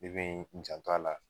Ne be n janto a la